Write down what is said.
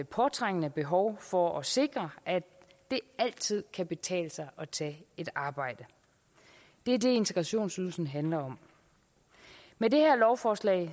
påtrængende behov for at sikre at det altid kan betale sig at tage et arbejde det er det integrationsydelsen handler om med det her lovforslag